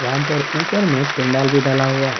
یہاں پر اپر مے پنڈال بھی ڈلا ہا ہے۔